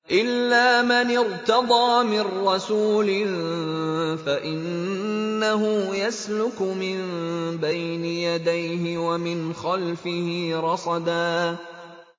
إِلَّا مَنِ ارْتَضَىٰ مِن رَّسُولٍ فَإِنَّهُ يَسْلُكُ مِن بَيْنِ يَدَيْهِ وَمِنْ خَلْفِهِ رَصَدًا